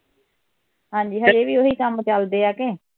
ਹਾਂ ਜੀ ਹਾਂ ਜੀ ਇਹ ਵੀ ਉਹ ਹੀ ਕੰਮ ਚਲਦੇ ਆ ਕੇ